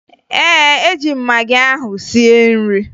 Ee, eji m magị ahụ sie nri